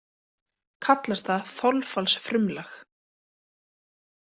Kallast það þolfallsfrumlag.